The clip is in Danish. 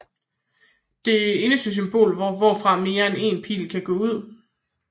Det eneste symbol hvorfra mere end én pil kan gå ud